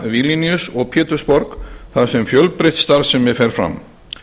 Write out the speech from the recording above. ríga vilníus og pétursborg þar sem fjölbreytt starfsemi fer fram